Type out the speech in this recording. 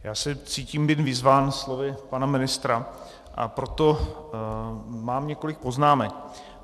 Já se cítím být vyzván slovy pana ministra, a proto mám několik poznámek.